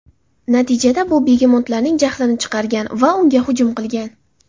Natijada bu begemotlarning jahlini chiqargan va unga hujum qilgan.